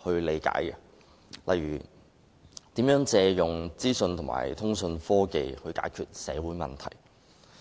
角度理解，例如如何利用資訊和通訊科技解決社會問題。